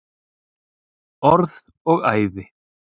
Orð og æði.